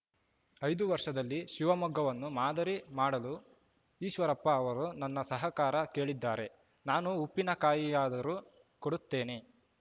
ಐದು ವರ್ಷದಲ್ಲಿ ಶಿವಮೊಗ್ಗವನ್ನು ಮಾದರಿ ಮಾಡಲು ಈಶ್ವರಪ್ಪ ಅವರು ನನ್ನ ಸಹಕಾರ ಕೇಳಿದ್ದಾರೆ ನಾನು ಉಪ್ಪಿನಕಾಯಿಯಾದರೂ ಕೊಡುತ್ತೇನೆ